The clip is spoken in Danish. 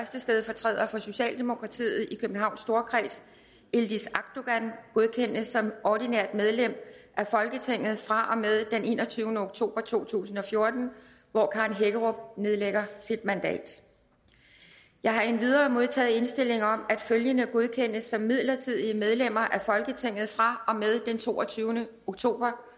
stedfortræder for socialdemokratiet i københavns storkreds yildiz akdogan godkendes som ordinært medlem af folketinget fra og med den enogtyvende oktober to tusind og fjorten hvor karen hækkerup nedlægger sit mandat jeg har endvidere modtaget indstilling om at følgende godkendes som midlertidige medlemmer af folketinget fra og med den toogtyvende oktober